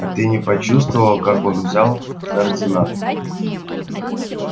а ты не почувствовал как он взял координаты